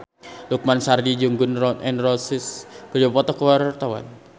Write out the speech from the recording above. Lukman Sardi jeung Gun N Roses keur dipoto ku wartawan